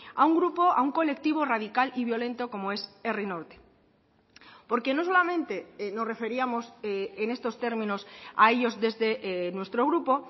a un grupo a un colectivo radical y violento como es herri norte porque no solamente nos referíamos en estos términos a ellos desde nuestro grupo